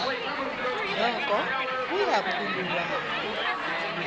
noko kuya phululwana